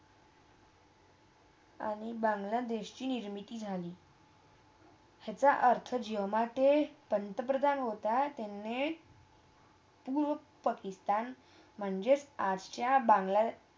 आणि बांगलादेशची निर्मिती झाली याचा अर्थ जेव्हा ते पंतप्रधान होता त्यांने पूर्व पाकिस्तान म्हणजे आजच्या बंगलादेश